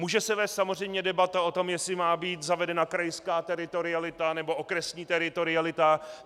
Může se vést samozřejmě debata o tom, jestli má být zavedena krajská teritorialita, nebo okresní teritorialita.